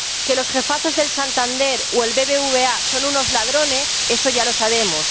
Que los jefazos del Santander o el BBVA son unos ladrones, eso ya lo sabemos.